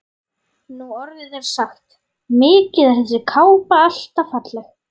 Nú orðið er sagt: Mikið er þessi kápa alltaf falleg